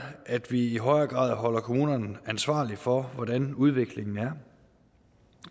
at vi i højere grad holder kommunerne ansvarlige for hvordan udviklingen er